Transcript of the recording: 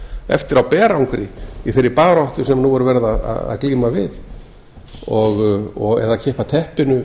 eftir á berangri í þeirri baráttu sem nú er verið að glíma við eða kippa teppinu